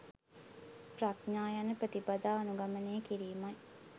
ප්‍රඥා යන ප්‍රතිපදා අනුගමනය කිරීමයි.